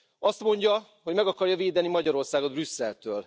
Azt mondja, hogy meg akarja védeni Magyarországot Brüsszeltől.